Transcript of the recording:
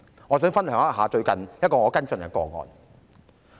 我想與大家分享我最近跟進的個案。